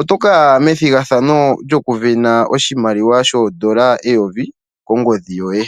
oto ka ya methigarhano lyokuvena oondola eyovi kongodhi yoye.